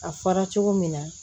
A fɔra cogo min na